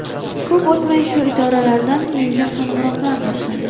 Ko‘p o‘tmay shu idoralardan menga qo‘ng‘iroqlar boshlandi.